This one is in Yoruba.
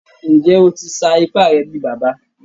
Njẹ́, ó tì ṣà ìpà rẹ̀ bí bàbá?